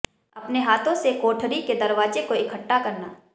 अपने हाथों से कोठरी के दरवाजे को इकट्ठा करना